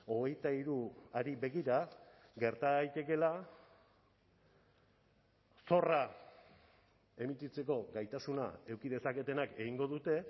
hogeita hiruari begira gerta daitekeela zorra emititzeko gaitasuna eduki dezaketenak egingo dute